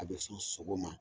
A be sɔn sogo ma